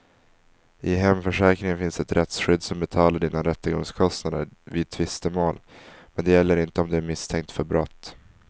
I hemförsäkringen finns ett rättsskydd som betalar dina rättegångskostnader vid tvistemål, men det gäller inte om du är misstänkt för brott.